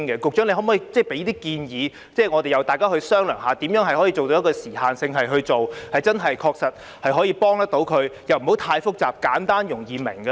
局長可否提出建議，大家再商量如何以有時限的性質去做，真正確切地幫助市民，而又不會太複雜，使其簡單和容易明白呢？